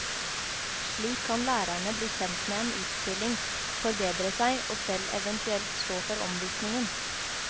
Slik kan lærerne bli kjent med en utstilling, forberede seg og selv eventuelt stå for omvisningen.